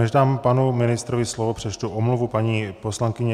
Než dám panu ministrovi slovo, přečtu omluvu paní poslankyně.